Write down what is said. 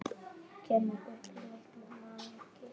Kemur upp í miklu magni.